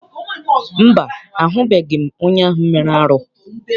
Mba, ahụbeghị m onye ahụ mere arụ.